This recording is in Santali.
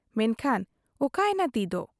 ᱢᱮᱱᱠᱷᱟᱱ ᱚᱠᱟᱭᱮᱱᱟ ᱛᱤᱫᱚ ᱾